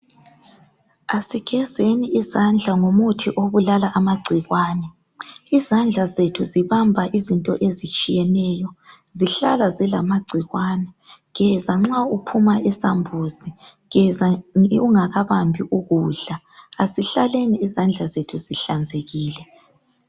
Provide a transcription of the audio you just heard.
Asigezeni izandla ngomuthi obulala amagcikwane. Izandla zethu zibamba izinto ezitshiyeneyo. Zihlala zilamagcikwane. Geza nxa uphuma esambuzini, geza ungakabambi ukudla . Asihlaleni izandla zethu zihlanzekile.